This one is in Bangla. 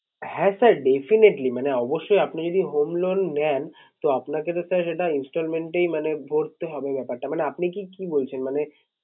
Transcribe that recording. হ্যাঁ sir definitely মানে অবশ্যই আপনি যদি home loan নেন তো আপনাকে তো sir সেটা Installment এই মানে ভরতে হবে ব্যাপারটা মানে আপনি কি কি বলছেন? মানে